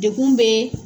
Dekun bɛ